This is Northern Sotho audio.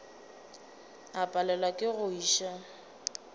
o palelwa ke go iša